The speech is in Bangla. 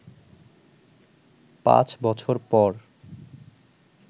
পাঁচ বছর পর